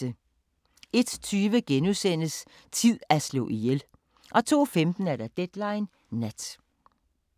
01:20: Tid at slå ihjel * 02:15: Deadline Nat